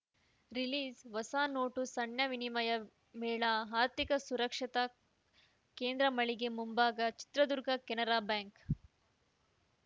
ರಿಲೀಸ್‌ಹೊಸ ನೋಟು ಸಣ್ಣ ವಿನಿಮಯ ಮೇಳ ಆರ್ಥಿಕ ಸಾಕ್ಷರತಾ ಕೇಂದ್ರ ಮಳಿಗೆ ಮುಂಭಾಗ ಚಿತ್ರದುರ್ಗ ಕೆನರಾ ಬ್ಯಾಂಕ್‌